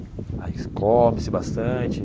Aí come-se bastante.